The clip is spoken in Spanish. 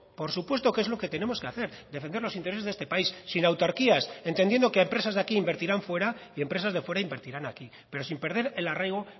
por supuesto que es lo que tenemos que hacer defender los intereses de este país sin autarquías entendiendo que empresas de aquí invertirán fuera y empresas de fuera invertirán aquí pero sin perder el arraigo